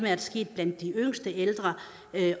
er sket blandt de yngste ældre